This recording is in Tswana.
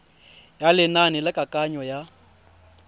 ya lenane la kananyo ya